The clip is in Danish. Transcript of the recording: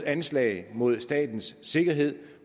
anslag mod statens sikkerhed